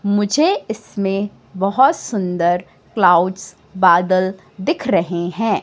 मुझे इसमें बहोत सुंदर क्लाउड्स बादल दिख रहे हैं।